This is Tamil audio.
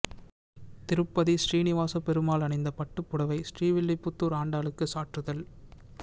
திருப்பதி சீனிவாசப் பெருமாள் அணிந்த பட்டுப் புடவை ஸ்ரீவில்லிபுத்தூா் ஆண்டாளுக்கு சாற்றுதல்